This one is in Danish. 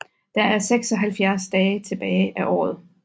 Der er 176 dage tilbage af året